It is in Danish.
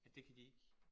At det kan de ikke